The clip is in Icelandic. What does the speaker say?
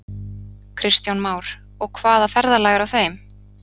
Kristján Már: Og hvaða ferðalag er á þeim?